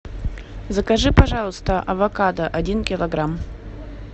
закажи пожалуйста авокадо один килограмм